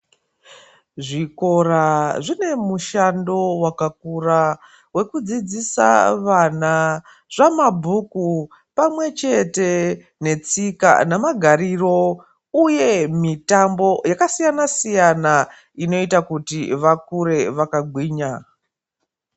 Zvikora zvine mushando vakakura vekudzidzisa vana zvamabhuku pamwe chete netsika nemadariro, uye mitambo yakasiyana-siyana, inoita kuti vakure vakagwinya.